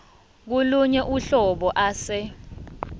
kolunye uhlobo ase